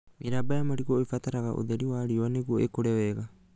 Mĩramba ya marigũ ĩbataraga ũtheri wa riũa nĩguo ĩkũre wega